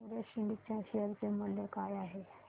Everest Ind च्या share चे मूल्य काय आहे